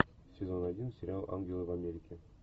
сезон один сериал ангелы в америке